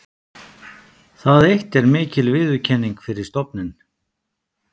Það eitt er mikil viðurkenning fyrir stofninn.